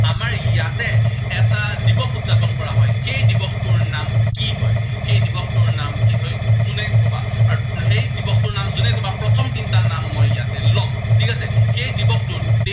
আমাৰ ইয়াতে এটা দিৱস উদযাপন কৰা হয়। সেই দিৱসটোৰ নাম কি হয়, সেই দিৱসটোৰ নাম কি হয়, কোনে কবা। আৰু সেই দিৱসটোৰ নাম যোনে কবা প্ৰথম তিনিটাৰ নাম মই ইয়াতে লম। ঠিক আছে, সেই দিৱসটোত